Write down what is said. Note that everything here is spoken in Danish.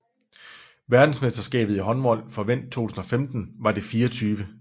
Verdensmesterskabet i håndbold for mænd 2015 var det 24